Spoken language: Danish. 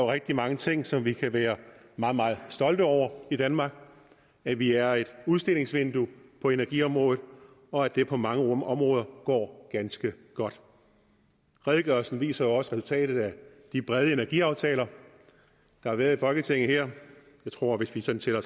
rigtig mange ting som vi kan være meget meget stolte over i danmark at vi er et udstillingsvindue på energiområdet og at det på mange områder går ganske godt redegørelsen viser jo også resultatet af de brede energiaftaler der har været i folketinget jeg tror at hvis vi sådan tæller